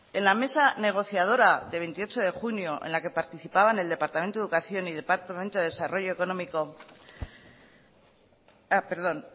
en la mesa negociadora de veintiocho de junio en la que participaban el departamento de educación y departamento de desarrollo económico perdón